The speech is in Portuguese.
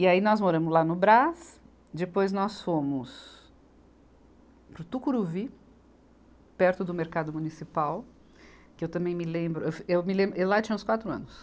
E aí nós moramos lá no Brás, depois nós fomos para o Tucuruvi, perto do mercado municipal, que eu também me lembro, eu fu, eu me lembro eu lá tinha uns quatro anos.